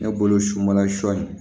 Ne bolo sunbala sɔ in